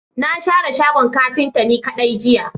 Na share shagon kafinta ni kadai jiya.